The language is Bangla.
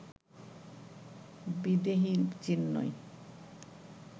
বিদেহী, চিন্ময়